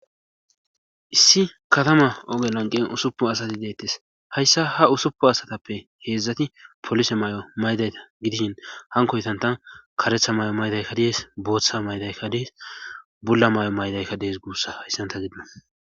issi katama oge lanqen usuppu asati deettes hayssa ha usuppu asatappe heedzdzati polise mayo maydayta gidishin hankoytanta karetha mayo maydayka dees booththa maydaykka dees bulla mayo maydaykka dees guussa hyssanta gidon